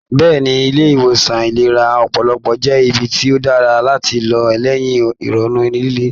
Bẹ́ẹ̀ni, ilé ìwòsan ìlera ọpọlọpọ jẹ́ ibi tí ó dára láti lọ lẹ́yìn ìrònú líle